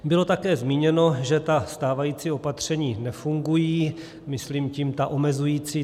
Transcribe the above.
Bylo také zmíněno, že ta stávající opatření nefungují, myslím tím ta omezující.